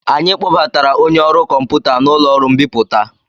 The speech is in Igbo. Anyị kpọbatara onye ọrụ kọmputa n'ụlọ ọrụ mbipụta.